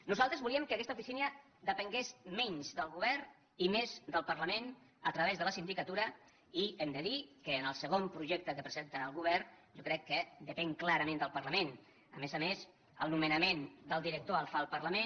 nosaltres volíem que aquesta oficina depengués menys del govern i més del parlament a través de la sindicatura i hem de dir que en el segon projecte que presenta el govern jo crec que depèn clarament del parlament a més a més el nomenament del director el fa el parlament